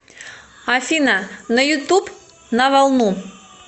афина на ютуб на волну